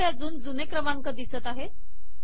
इथे अजून जुने क्रमांक दिसत आहेत